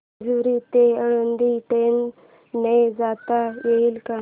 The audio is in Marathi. जेजूरी ते आळंदी ट्रेन ने जाता येईल का